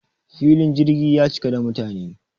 filin jirgi ya cika da mutane